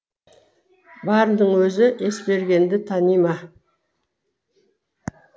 барының өзі есбергенді тани ма